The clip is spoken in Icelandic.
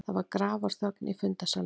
Það var grafarþögn í fundarsalnum.